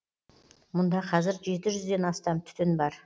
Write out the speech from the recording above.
мұнда қазір жеті жүзден астам түтін бар